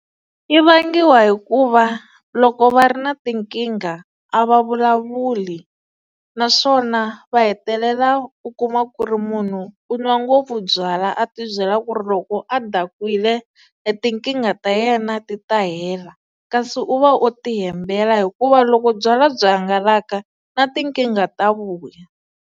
Yi vangiwa hikuva loko va ri na tinkingha a va vulavuli naswona va hetelela u kuma ku ri munhu u nwa ngopfu byalwa a tibyela ku ri loko a dakwile e nkingha ta yena ti ta hela kasi u va o ti hembela hikuva loko byalwa byi hangalaka na tinkingha ta vuya.